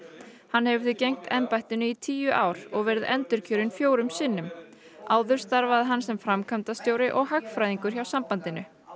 hann hefur því gegnt embættinu í tíu ár og verið endurkjörinn fjórum sinnum áður starfaði hann sem framkvæmdastjóri og hagfræðingur hjá sambandinu